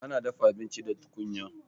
Ana dafa abinci da tukunya